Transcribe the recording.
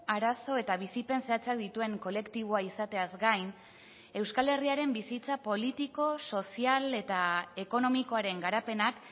arazo eta bizipen zehatzak dituen kolektiboa izateaz gain euskal herriaren bizitza politiko sozial eta ekonomikoaren garapenak